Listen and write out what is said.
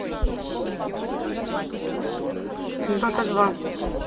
дота два